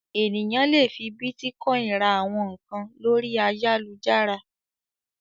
Ènìyàn le fi bítíkọ́ìn ra àwọn nǹkan lórí ayálujára.